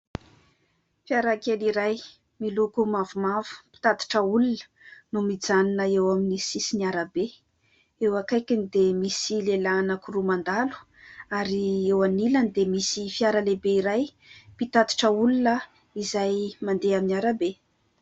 Fiara kely iray miloko mavomavo mpitatitra olona no mijanona eo amin'ny sisin'ny arabe. Eo akaikiny dia misy lehilahy anaky roa mandalo ary eo anilany dia misy fiara lehibe iray mpitatitra olona izay mandeha amin'ny arabe.